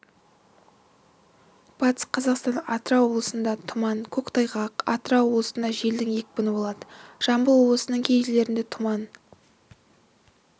батыс қазақстан атырау облыстарында тұман көктайғақ атырау облысында желдің екпіні болады жамбыл облысының кей жерлерінде тұман